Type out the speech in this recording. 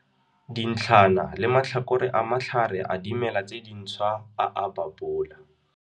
Dintlhana le matlhakore a matlhare a dimela tse dinthswa a a babola.